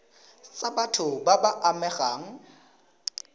tsa batho ba ba amegang